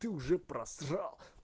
ты уже просрал